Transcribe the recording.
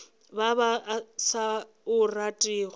ba ba sa o ratego